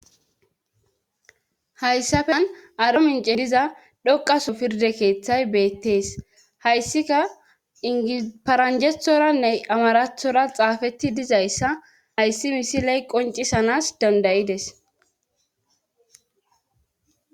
Hayssafen aro mince diza dhoqaso pirde keeththay beettees hayssika iniparanjethoranne amarathora xaafetti dizayssa ayssi misiley qoncisanas dandayides.